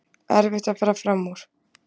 Erfitt að fara fram úr